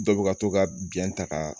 Dɔ bɛ ka to ka biyɛn ta ka